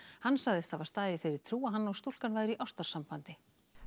hann sagðist hafa staðið í þeirri trú að hann og stúlkan væru í ástarsambandi